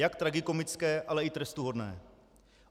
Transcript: Jak tragikomické, ale i trestuhodné.